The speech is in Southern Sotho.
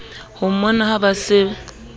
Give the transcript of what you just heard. ho mmona ha ba se